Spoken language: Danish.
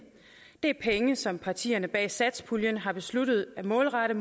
det er penge som partierne bag satspuljen har besluttet at målrette